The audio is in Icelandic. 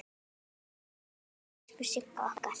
Elsku Sigga okkar!